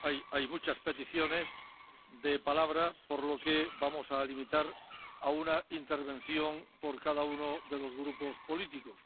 Hay muchas peticiones de palabra, por lo que vamos a limitarnos a una intervención por cada uno de los grupos políticos.